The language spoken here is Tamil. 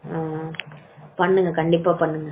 பண்ணுங்க கண்டிப்பா பண்ணுங்க